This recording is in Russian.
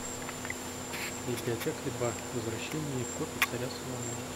библиотекарь два возвращение в копи царя соломона